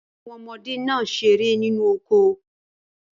Ba won omode naa sere ninu oko